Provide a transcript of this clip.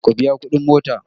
Ku biya kuɗin mota!